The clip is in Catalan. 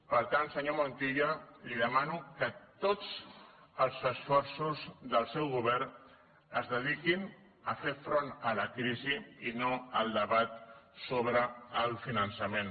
per tant senyor montilla li demano que tots els esforços del seu govern es dediquin a fer front a la crisi i no al debat sobre el finançament